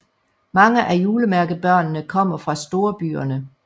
Mange af julemærkebørnene kommer fra storbyerne